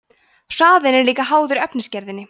hraðinn er líka háður efnisgerðinni